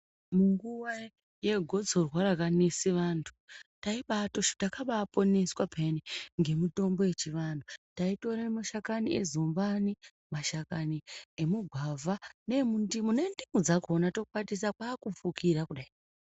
Munguva yegotsorwa rakanese vantu, taibaatoshu takabaaponeswa pheyani, ngemitombo yechivanhu. Taitore mashakani ezumbani, mashakani emugwavha, neemundimu, nendimu dzakhona tokwatisa kwaakufukira kudai.